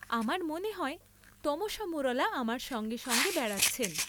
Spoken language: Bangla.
আমার মনে হয় তমসা মুরলা আমার সঙ্গে সঙ্গে বেড়াচ্ছেন।